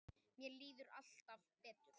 Mér líður alltaf betur.